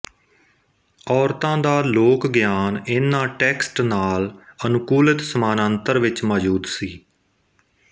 ਔਰਤਾਂ ਦਾ ਲੋਕ ਗਿਆਨ ਇਹਨਾਂ ਟੈਕਸਟ ਨਾਲ ਅਨੁਕੂਲਿਤ ਸਮਾਨਾਂਤਰ ਵਿੱਚ ਮੌਜੂਦ ਸੀ